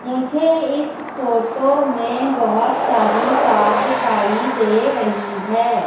मुझे इस फोटो में बहोत सारी कार दिखाई दे रहीं हैं।